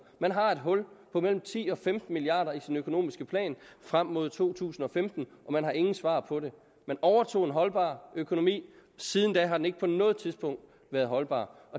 man har et hul på mellem ti og femten milliard kroner i sin økonomiske plan frem mod to tusind og femten og man har ingen svar på det man overtog en holdbar økonomi siden da har den ikke på noget tidspunkt været holdbar